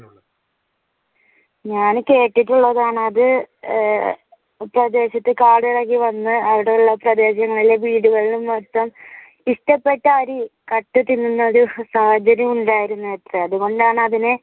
ഞാൻ കേട്ടിട്ടുള്ളതാണ് അത് ആഹ് കാടിളകി വന്ന് അവിടെയുള്ള പ്രദേശങ്ങളിലെ വീടുകളിൽ മൊത്തം ഇഷ്ടപെട്ട അരി കട്ട് തിന്നുന്ന ഒരു സാഹചര്യം ഉണ്ടായിരുന്നുവത്രെ അതുകൊണ്ടാണ് അതിനെ